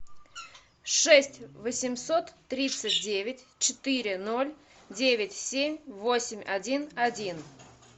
шесть восемьсот тридцать девять четыре ноль девять семь восемь один один